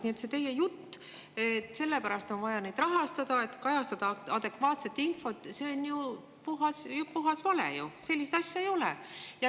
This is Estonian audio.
Nii et see teie jutt, et neid on vaja rahastada sellepärast, et kajastada adekvaatset infot, on ju puhas vale, sellist asja ei ole.